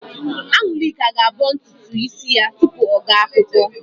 An̄ụlịka ga-abọ ntutu ísí ya tupu ọ gaa akwụkwọ.